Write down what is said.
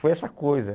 Foi essa coisa.